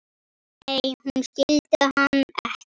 Nei, hún skildi hann ekki.